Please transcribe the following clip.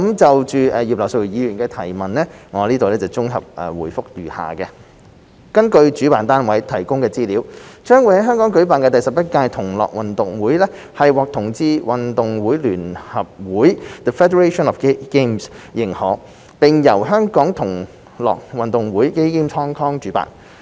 就葉劉淑儀議員的質詢，我現綜合回覆如下﹕根據主辦單位提供的資料，將在香港舉辦的第11屆"同樂運動會"獲"同志運動會聯合會"認可，並由"香港同樂運動會"主辦。